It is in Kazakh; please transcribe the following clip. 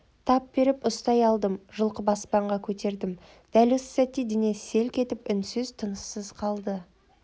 тап беріп ұстай алдым жұлқып аспанға көтердім дәл осы сәтте денесі селк етіп үнсіз тыныссыз қалды